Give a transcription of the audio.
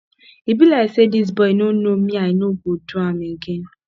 e be like say dis boy no know me i no go do am again